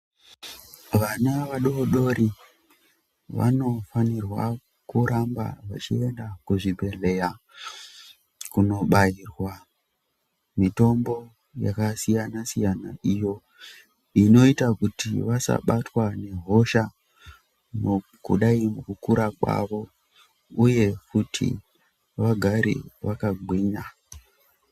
Vana vadodori vanofanirwa kuramba vachienda kuzvibhehlera kundobairwa mitombo yakasiyana siyana iyo inoita kuti vasabatwe nehosha mukudai kukura kwavo uye kuti vagare vakagwinya.